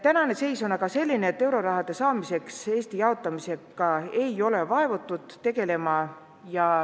Praegune seis on aga selline, et enama euroraha saamiseks Eesti jaotamisega ei ole vaevutud tegelema.